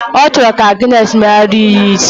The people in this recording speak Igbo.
O choro ka Agness meghari ya isi.